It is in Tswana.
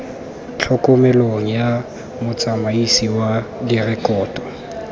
tlhokomelong ya motsamaisi wa direkoto